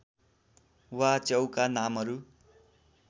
वा च्याउका नामहरू